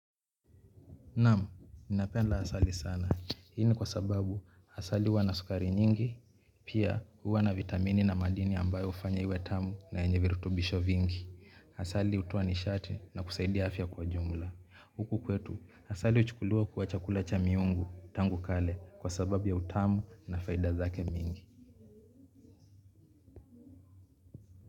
Naam, ninapenda asali sana. Hii ni kwa sababu, asali huwa na sukari nyingi, pia huwa na vitamini na madini ambayo hufanya iwe tamu na yenye virutubisho vingi. Asali hutoa nishati na kusaidia afya kwa jumla. Huku kwetu, asali huchukuliwa kuwa chakula cha miungu, tangu kale, kwa sababu ya utamu na faida zake mingi.